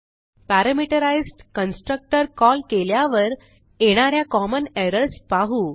parameterised constructor call केल्यावर येणा या कॉमन एरर्स पाहू